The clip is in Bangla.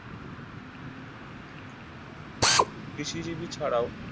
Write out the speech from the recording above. কৃষিজীবী ছাড়াও